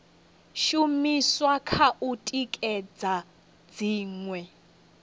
shumiswa kha u tikedza dziṅwe